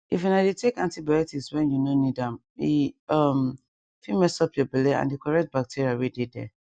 if una dey take antibiotics when you no need ame um fit mess up your belle and the correct bacteria wey dey there